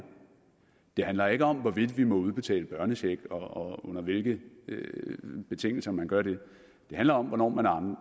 det handler ikke om hvorvidt vi må udbetale børnecheck og under hvilke betingelser man gør det det handler om hvornår man